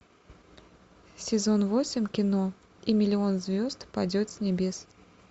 сезон восемь кино и миллион звезд падет с небес